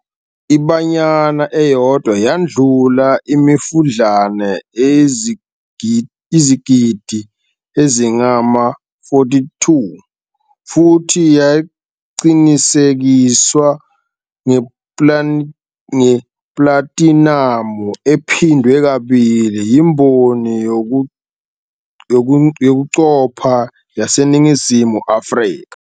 I-"Banyana" eyodwa yadlula imifudlana eyizigidi ezingama-4.2 futhi yaqinisekiswa ngeplatinamu ephindwe kabili yimboni yokuqopha yaseNingizimu Afrika.